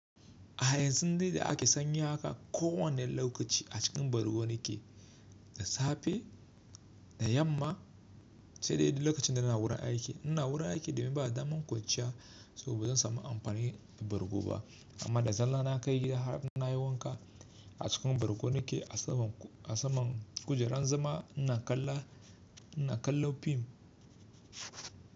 A yanzu dai da ake sanyi haka kowane lokaci a cikin bargo nake, da safe, da yamma sai dai lokacin da ina wurin aiki. Ina wurin aiki domin ba da daman kwanciya saboda ba zan samu amfani da bargo ba. Amma da zalla na kai gida har na yi wanka a cikin bargo nake a saman a saman kujerar zama ina kallon fim.